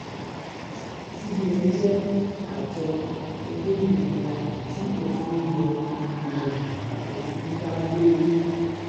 cbn jẹ́ àjọ olómìnira tí òfin ilé ìgbìmọ̀ aṣòfin dá lórí.